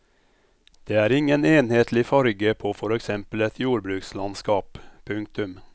Det er ingen enhetlig farge på for eksempel et jordbrukslandskap. punktum